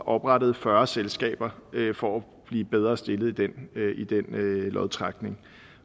oprettede fyrre selskaber for at blive bedre stillet i den lodtrækning